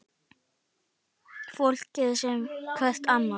Fólk sem sér hvert annað.